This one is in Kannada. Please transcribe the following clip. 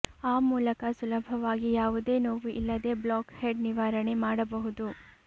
ಆ ಮೂಲಕ ಸುಲಭವಾಗಿ ಯಾವುದೇ ನೋವು ಇಲ್ಲದೆ ಬ್ಲಾಕ್ ಹೆಡ್ ನಿವಾರಣೆ ಮಾಡಬಹುದು